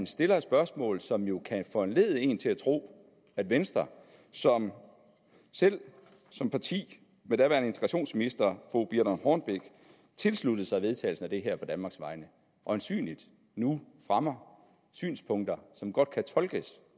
stillet et spørgsmål som jo kan foranledige en til at tro at venstre som selv som parti med daværende integrationsminister fru birthe rønn hornbech tilsluttede sig vedtagelsen af det her på danmarks vegne øjensynligt nu fremmer synspunkter som godt kan tolkes